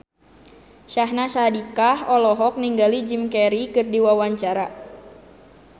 Syahnaz Sadiqah olohok ningali Jim Carey keur diwawancara